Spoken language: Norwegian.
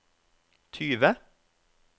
tyve